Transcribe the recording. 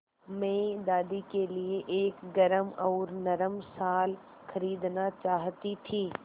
मैं दादी के लिए एक गरम और नरम शाल खरीदना चाहती थी